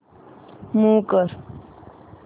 move कर